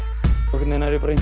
veginn er ég bara að